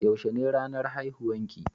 Yaushe ne ranan haihuwan ki?